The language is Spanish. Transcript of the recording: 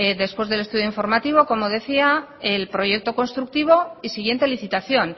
después del estudio informativo como decía el proyecto constructivo y siguiente licitación